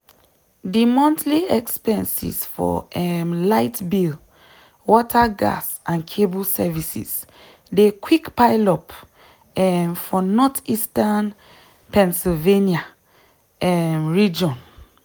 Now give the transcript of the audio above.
di monthly expenses for um light bill water gas and cable services dey quick pile up um for northeastern pennsylvania um region.